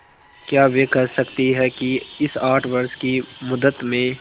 क्या वे कह सकती हैं कि इस आठ वर्ष की मुद्दत में